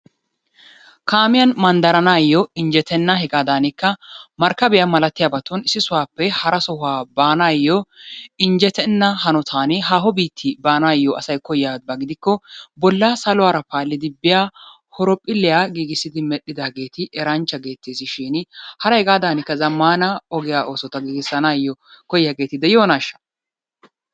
Kaamiyan manddaranaayyo injjetenna hegaadaanikka markkabiya malatiyabatun issi sohuwappe hara sohuwa baanaayyo injjetenna hanotan haaho biitti baanaayyo asay koyyiyaba gidikko bolla saluwara paallidi biya horophpholliya giigissidi medhdhidaageeti eranchcha geettees shiini hara hegaadaanikka zammaana ogiya oosota giigissanaayyo koyyiyageeti de'iyonaashsha?